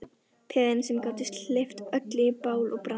Peðin sem gátu hleypt öllu í bál og brand.